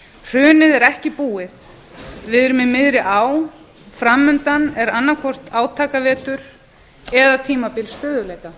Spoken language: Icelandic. hrunið er ekki búið við erum í miðri á fram undan er annaðhvort átakavetur eða tímabil stöðugleika